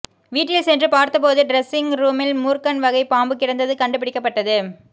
வீட்டில் சென்று பார்த்தபோது டிரெஸ்ஸிங் ரூமில் மூர்க்கன் வகை பாம்பு கிடந்தது கண்டுபிடிக்கப்பட்டது